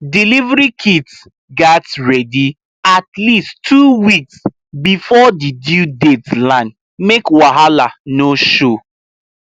delivery kit gats ready at least two weeks before the due date land make wahala no show